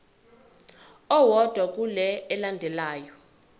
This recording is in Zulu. owodwa kule elandelayo